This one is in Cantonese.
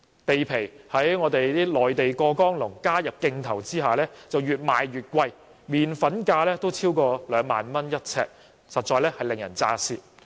土地在內地"過江龍"加入競投下越賣越貴，連"麪粉"價也超過每平方呎兩萬元，實在令人咋舌。